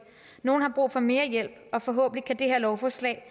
nogle har brug for mere hjælp og forhåbentlig kan det her lovforslag